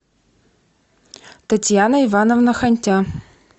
татьяна ивановна хантя